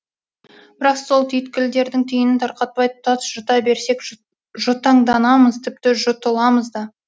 бірақ сол түйткілдердің түйінін тарқатпай тұтас жұта берсек жұтаңданамыз тіпті жұтыламыз да